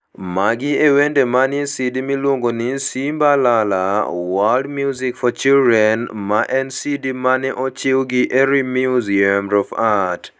Magi e wende manie CD miluongo ni "Simba La La: World Music for Children", ma en CD ma ne ochiw gi Erie Museum of Art.